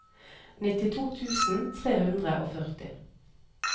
nittito tusen tre hundre og førti